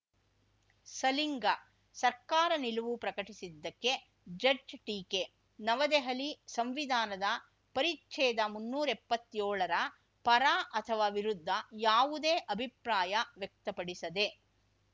ಸಲಿಂಗ ಸರ್ಕಾರ ನಿಲುವು ಪ್ರಕಟಿಸದ್ದಕ್ಕೆ ಜಡ್ಜ್ ಟೀಕೆ ನವದೆಹಲಿ ಸಂವಿಧಾನದ ಪರಿಚ್ಛೇದ ಮುನ್ನೂರ ಎಪ್ಪತ್ಯೋಳರ ಪರ ಅಥವಾ ವಿರುದ್ಧ ಯಾವುದೇ ಅಭಿಪ್ರಾಯ ವ್ಯಕ್ತಪಡಿಸದೇ